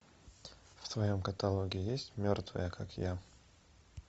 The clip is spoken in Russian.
в твоем каталоге есть мертвые как я